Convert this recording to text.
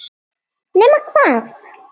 Nema hvað!